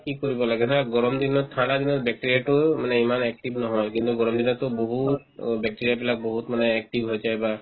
কি কৰিব লাগে নহয় গৰমত ধৰা তোমাৰ bacteria তো মানে ইমান active নহয় কিন্তু গৰম দিনততো বহুত অ bacteria বিলাক বহুত মানে active হৈ যায় বা